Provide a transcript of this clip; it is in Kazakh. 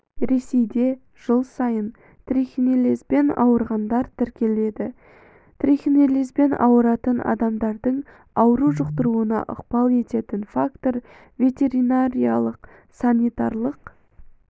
ресейде жыл сайын дейін трихинеллезбен ауырғандар тіркеледі трихинеллезбен ауыратын адамдардың ауру жұқтыруына ықпал ететін фактор ветеринариялық-санитарлық